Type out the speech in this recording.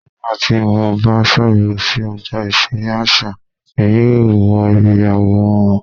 Nigbati mo ba ṣabẹwo si ọgba iṣere aṣa, Emi yoo wo ibi aworan wọn